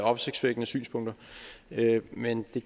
opsigtsvækkende synspunkter men det